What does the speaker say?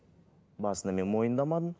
басында мен мойындамадым